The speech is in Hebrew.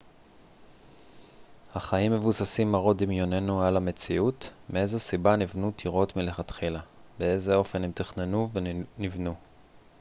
אך האם מבוססים מראות דמיוננו על המציאות מאיזו סיבה נבנו טירות מלכתחילה באיזה אופן הן תוכננו ונבנו